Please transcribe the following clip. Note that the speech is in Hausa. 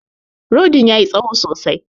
Rodin ya yi tsaho sosai.